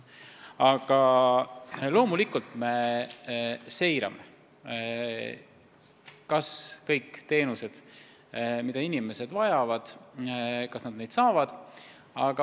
Aga loomulikult me seirame, kas kõik teenused, mida inimesed vajavad, on kättesaadavad.